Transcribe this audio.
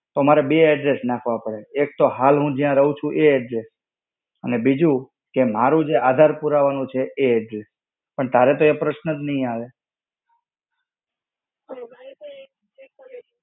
તો મારે બે address નાખવા પડે છે. એક તો હાલ હું જ્યા રહું છું એ address, અને બીજું કે જે મારા આધાર પુરાવાનું છે એ address. પણ તારે તો એ પ્રશ્ન જ નહિ આવે.